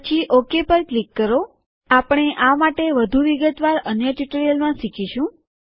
પછી ઓકે પર ક્લિક કરો આપણે આ માટે વધુ વિગતવાર અન્ય ટ્યુટોરીયલમાં શીખીશું